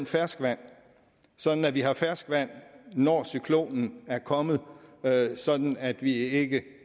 ferskvand sådan at vi har ferskvand når cyklonen er kommet sådan at vi ikke